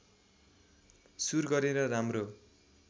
सुर गरेर राम्रो